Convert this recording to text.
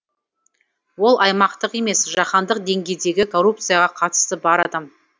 ол аймақтық емес жаһандық деңгейдегі коррупцияға қатысы бар адам